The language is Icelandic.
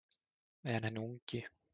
En hinn ungi